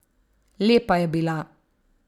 Lepa je bila.